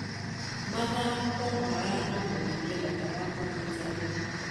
Mathako maratũbundithia bata wa ũnyitanĩri.